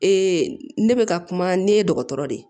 ne bɛ ka kuma ne ye dɔgɔtɔrɔ de ye